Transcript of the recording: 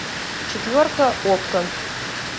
четверка окко